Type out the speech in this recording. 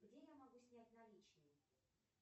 где я могу снять наличные